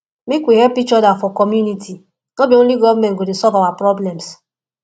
make we help each other for community no be only government go solve our problems